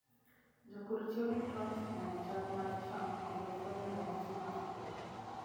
Jopur tiyo gi drones e nono chal mar cham kendo fwenyo ranyisi mag tuoche.